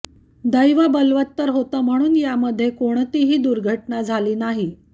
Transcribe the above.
दैव बलवत्तर होतं म्हणून यामध्ये कोणतीही दुर्घटना झाली नाही